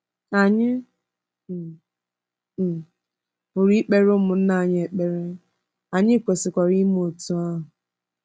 Anyị um um pụrụ ịkpere ụmụnna anyị ekpere, anyị kwesịkwara ime otú ahụ.